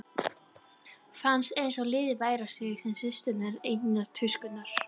Fannst einsog litið væri á sig sem systur einnar tuskunnar.